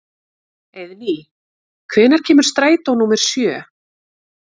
Eiðný, hvenær kemur strætó númer sjö?